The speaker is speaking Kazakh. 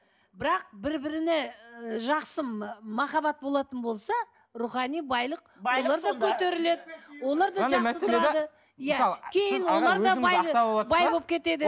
бірақ бір біріне ы жақсы махаббат болатын болса рухани байлық олар да көтеріледі олар да жақсы тұрады иә кейін олар да бай ы бай болып кетеді